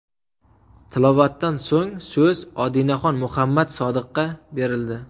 Tilovatdan so‘ng so‘z Odinaxon Muhammad Sodiqqa berildi.